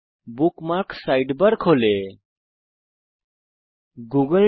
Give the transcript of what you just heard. bookmarks sidebar বাম প্যানেলে খোলে